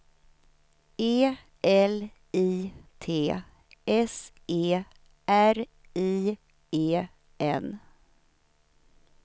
E L I T S E R I E N